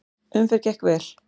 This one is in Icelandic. Umferð gekk vel.